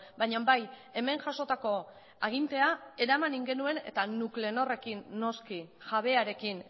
baina bai hemen jasotako agintea eraman egin genuen eta nuclenorrekin noski jabearekin